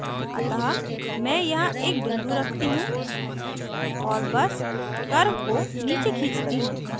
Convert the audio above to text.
अतः मैं यहाँ एक बिंदु रखती हूँ और बस curve को नीचे खींचती हूँ